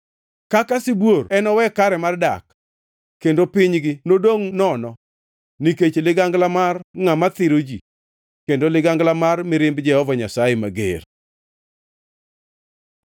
Kaka sibuor enowe kare mar dak, kendo pinygi nodongʼ nono, nikech ligangla mar ngʼama thiro ji kendo ligangla mar mirimb Jehova Nyasaye mager.